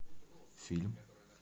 фильм